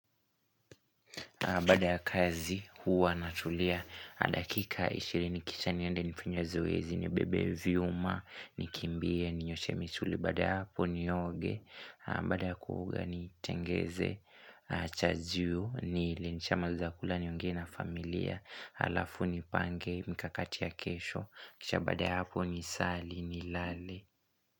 Baada ya kazi huwa natulia dakika 20 kisha niende nifanye zoezi nibebe vyuma nikimbie ninyoshe misuli baada ya hapo nioge baada ya kuoga nitengeneze chajio nile nikishamaliza kula niongee na familia halafu nipange mikakati ya kesho kisha baada ya hapo nisali nilale.